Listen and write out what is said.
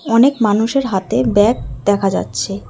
অনেক মানুষের হাতে ব্যাগ দেখা যাচ্ছে।